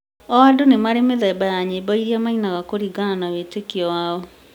o andũ nĩmarĩ mĩthemba ya nyĩmbo iria mainaga kũringana na wĩtĩkio wao